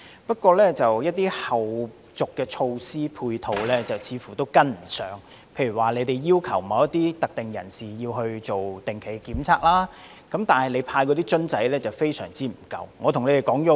不過，一些後續的措施和配套似乎跟不上，例如當局要求某一類特定人士進行定期檢測，但派發的樣本瓶非常不足。